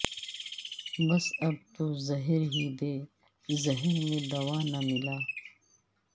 بس اب تو زہر ہی دے زہر میں دوا نہ ملا